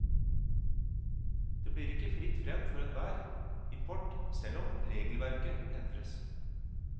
Det blir ikke fritt frem for enhver import, selv om regelverket endres.